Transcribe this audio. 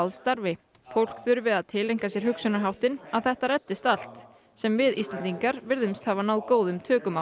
starfi fólk þurfi að tileinka sér hugsunarháttinn að þetta reddist allt sem við Íslendingar virðumst hafa náð góðum tökum á